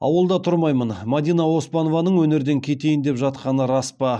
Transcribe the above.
ауылда тұрмаймын мадина оспанованың өнерден кетейін деп жатқаны рас па